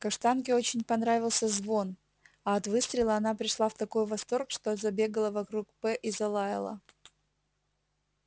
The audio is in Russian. каштанке очень понравился звон а от выстрела она пришла в такой восторг что забегала вокруг п и залаяла